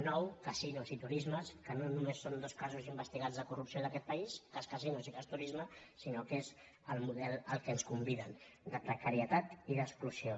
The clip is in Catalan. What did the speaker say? nou casinos i turismes que no només són dos casos investigats de corrupció d’aquest país cas casi·nos i cas turisme sinó que és el model a què ens con·viden de precarietat i d’exclusió